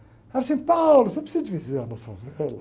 Ela dizia assim, você precisa de visitar.